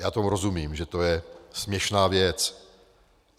Já tomu rozumím, že to je směšná věc.